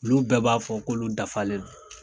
Olu bɛɛ b'a fɔ kolo dafalen do